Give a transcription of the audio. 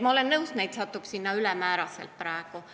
Ma olen nõus, et neid satub sinna praegu ülemäära palju.